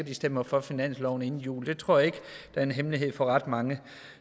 de stemmer for finansloven inden jul det tror jeg ikke er en hemmelighed for ret mange